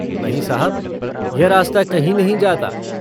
नहीं साहब, यह रास्ता कहीं नहीं जाता।